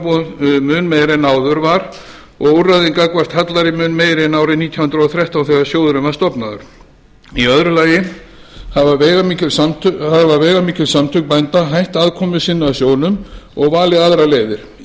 er tryggingaframboð mun meiri en áður var og úrræðin gagnvart hallæri mun meiri en árið nítján hundruð og þrettán þegar sjóðurinn var stofnaður í öðru lagi hafa veigamikil samtök bænda hætt aðkomu sinni að sjóðnum og valið aðrar leiðir í